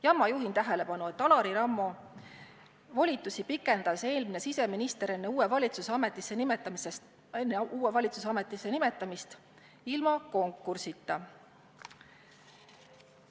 Ja ma juhin tähelepanu asjaolule, et Alari Rammo volitusi pikendas eelmine siseminister enne uue valitsuse ametisse nimetamist ilma konkursita.